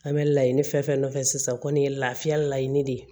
An bɛ laɲini fɛn fɛn nɔfɛ sisan kɔni ye lafiya laɲini de ye